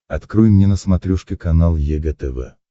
открой мне на смотрешке канал егэ тв